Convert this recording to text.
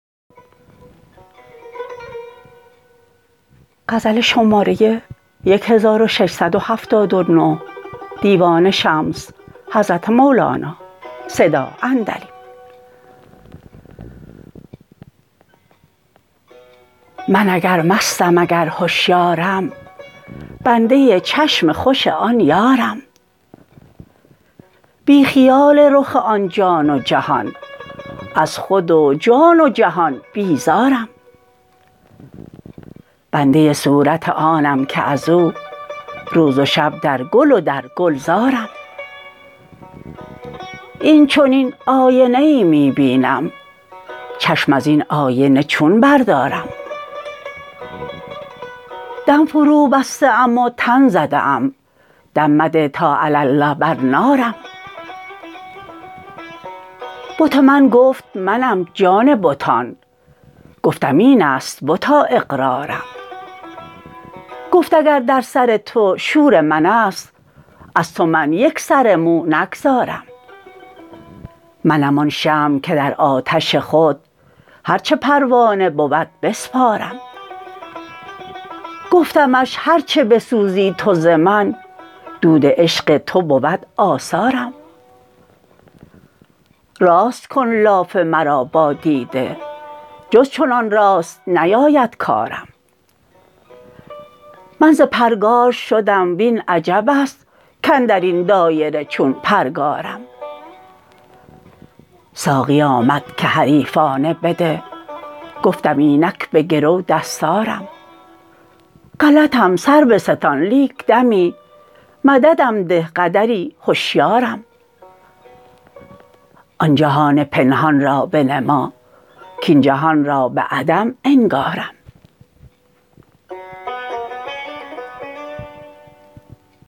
من اگر مستم اگر هشیارم بنده چشم خوش آن یارم بی خیال رخ آن جان و جهان از خود و جان و جهان بیزارم بنده صورت آنم که از او روز و شب در گل و در گلزارم این چنین آینه ای می بینم چشم از این آینه چون بردارم دم فروبسته ام و تن زده ام دم مده تا علالا برنارم بت من گفت منم جان بتان گفتم این است بتا اقرارم گفت اگر در سر تو شور من است از تو من یک سر مو نگذارم منم آن شمع که در آتش خود هر چه پروانه بود بسپارم گفتمش هر چه بسوزی تو ز من دود عشق تو بود آثارم راست کن لاف مرا با دیده جز چنان راست نیاید کارم من ز پرگار شدم وین عجب است کاندر این دایره چون پرگارم ساقی آمد که حریفانه بده گفتم اینک به گرو دستارم غلطم سر بستان لیک دمی مددم ده قدری هشیارم آن جهان پنهان را بنما کاین جهان را به عدم انگارم